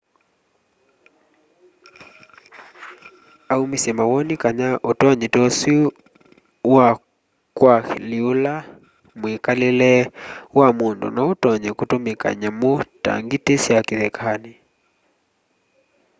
aũmĩsye mawoni kana ũtonyi tosũ wa kwa lĩũla mwĩkalĩle wa mũndũ no ũtonye kũtũmĩka nyamũ ta ngĩtĩ sya kĩthekanĩ